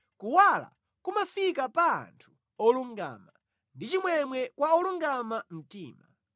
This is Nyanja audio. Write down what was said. Kuwala kumafika pa anthu olungama, ndi chimwemwe kwa olungama mtima.